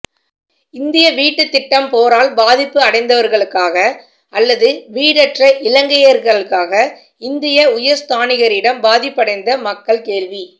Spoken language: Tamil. இந்திய வீட்டுத்திட்டம் போரால் பாதிப்படைந்தவர்களுக்கா அல்லது வீடற்ற இலங்கையருக்கா இந்திய உயர்ஸ்தானிகரிடம் பாதிப்படைந்த மக்கள் கேள்வி